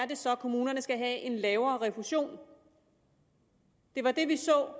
det så er kommunerne skal have en lavere refusion det var det vi så